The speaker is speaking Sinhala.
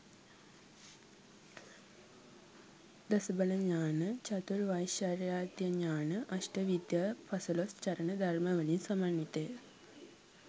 දස බල ඥාන, චතුර් වෛශාරද්‍ය ඥාන, අෂ්ට විද්‍යා පසළොස් චරණ ධර්ම වලින් සමන්විතය.